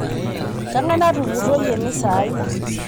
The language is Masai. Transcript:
Kengae natupurroyie emisa ai?